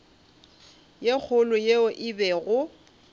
ye kgolo yeo e bego